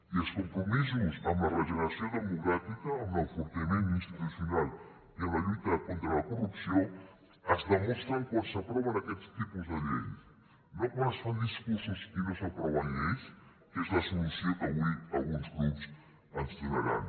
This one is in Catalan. i els compromisos amb la regeneració democràtica amb l’enfortiment institucional i amb la lluita contra la corrupció es demostra quan s’aproven aquests tipus de llei no quan es fan discursos i no s’aproven lleis que és la solució que avui alguns grups ens donaran